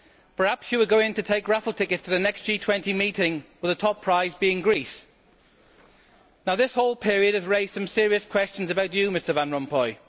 Perhaps you are going to take raffle tickets to the next G20 meeting, with the top prize being Greece. This whole period has raised some serious questions about you, Mr Van Rompuy.